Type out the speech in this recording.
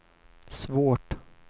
svårt